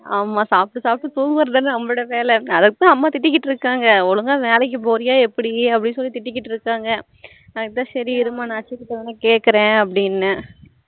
ஆமா சாப்ட்டு சாப்ட்டு தூங்குறது தானா நம்ம வேலை ஒழுங்கா வேலைக்கு போறயா எப்படி அப்படினு திட்டிட்டு இருக்காங்க அதான் சரி இருமா நா அச்சுட வேனா கேக்குறேன் அப்படினுன்னேன்